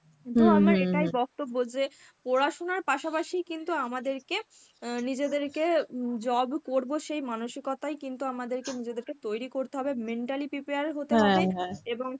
তো আমার এটাই বক্তব্য যে পড়াশোনার পাশাপাশি কিন্তু আমাদেরকে অ্যাঁ নিজেদেরকে উম job করব সেই মানসিকতাই কিন্তু আমাদেরকে নিজেদেরকে তৈরী করতে হবে, mentally prepare হতে হবে এবং